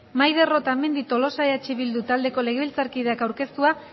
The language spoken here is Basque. maider otamendi tolosa eh bildu taldeko legebiltzarkideak aurkeztua